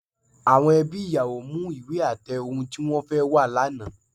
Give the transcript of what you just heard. Àwọn ẹbí ìyàwó mú ìwé àtẹ ohun tí wọ́n fẹ́ wá lánàá